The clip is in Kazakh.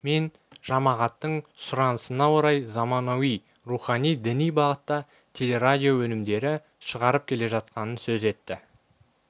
мен жамағаттың сұранысына орай заманауи рухани діни бағытта телерадио өнімдерді шығарып келе жатқанын сөз етті